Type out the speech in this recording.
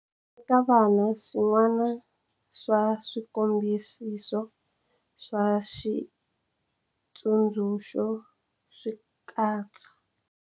Eka vana, swin'wana swa swikombiso swa xitsundzuxo swi katsa.